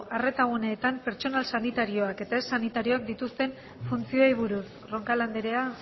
arretaguneetan pertsonal sanitarioak eta ez sanitarioak dituen funtzioei buruz roncal andrea